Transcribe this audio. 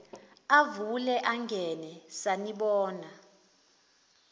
avule angene sanibona